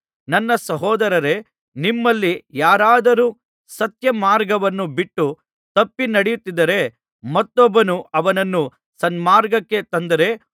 ನನ್ನ ಸಹೋದರರೇ ನಿಮ್ಮಲ್ಲಿ ಯಾರಾದರು ಸತ್ಯ ಮಾರ್ಗವನ್ನು ಬಿಟ್ಟು ತಪ್ಪಿ ನಡೆಯುತ್ತಿದ್ದರೆ ಮತ್ತೊಬ್ಬನು ಅವನನ್ನು ಸನ್ಮಾರ್ಗಕ್ಕೆ ತಂದರೆ